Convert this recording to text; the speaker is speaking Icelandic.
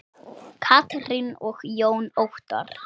Katrín og Jón Óttarr.